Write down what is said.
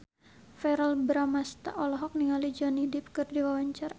Verrell Bramastra olohok ningali Johnny Depp keur diwawancara